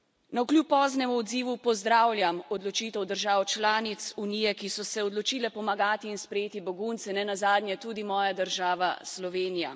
Navkljub poznemu odzivu pozdravljam odločitev držav članic Unije, ki so se odločile pomagati in sprejeti begunce, nenazadnje tudi moja država, Slovenija.